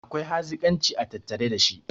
akwai hazikanci a tattare da shi